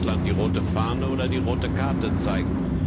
Wollen Sie Russland die rote Fahne oder die rote Karte zeigen?